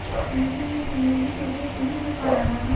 ऐसे में कहीं भी क्रिकेट नहीं हो रहा है